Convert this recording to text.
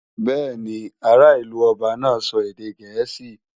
Bẹ́ẹ̀ni, ará ìlú ọba náà sọ èdè gẹ̀ẹ́sì